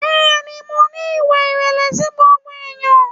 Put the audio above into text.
Bẹ́ẹ̀ni, mo ní ìwà ìrẹ̀lẹ̀ sí gbogbo ènìyàn.